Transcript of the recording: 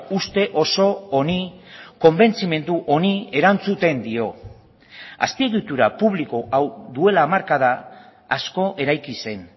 uste oso honi konbentzimendu honi erantzuten dio azpiegitura publiko hau duela hamarkada asko eraiki zen